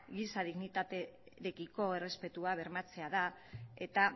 giza dignitatearekiko errespetua bermatzea da eta